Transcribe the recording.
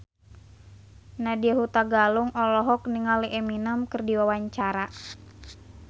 Nadya Hutagalung olohok ningali Eminem keur diwawancara